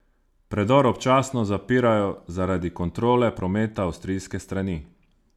Predor občasno zapirajo zaradi kontrole prometa avstrijske strani.